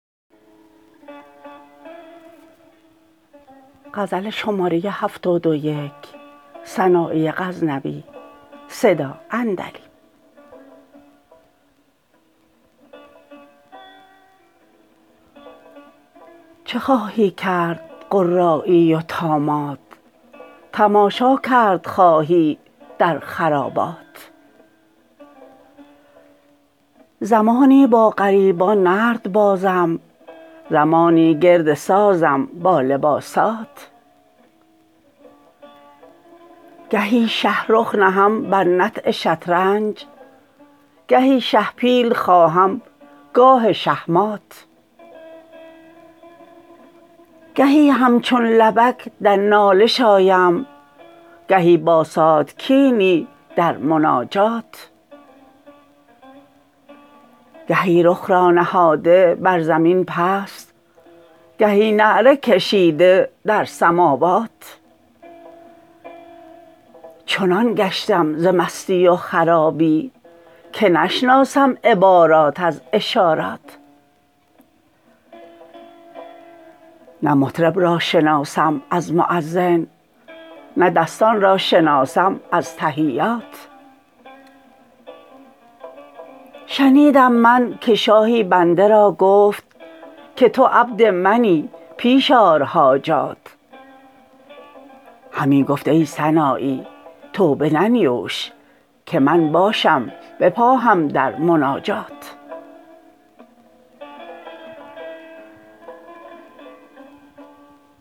چه خواهی کرد قرایی و طامات تماشا کرد خواهی در خرابات زمانی با غریبان نرد بازم زمانی گرد سازم با لباسات گهی شه رخ نهم بر نطع شطرنج گهی شه پیل خواهم گاه شهمات گهی همچون لبک در نالش آیم گهی با ساتکینی در مناجات گهی رخ را نهاده بر زمین پست گهی نعره کشیده در سماوات چنان گشتم ز مستی و خرابی که نشناسم عبارات از اشارات نه مطرب را شناسم از موذن نه دستان را شناسم از تحیات شنیدم من که شاهی بنده را گفت که تو عبد منی پیش آر حاجات همی گفت ای سنایی توبه ننیوش که من باشم بپاهم در مناجات